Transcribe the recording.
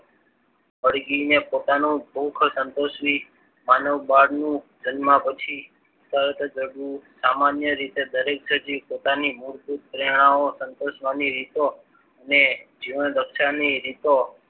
મરઘીને પોતાનું ભુખ સંતોષવી માનવ બાર નો જન્મ પછી તરત જ સામાન્ય રીતે દરેક સજીવ પોતાની મૂળભૂત પ્રેરણાઓ સંતોષવાની રીતો ને જીવન રક્ષણની રીતો